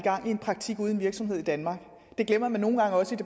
virksomhed i danmark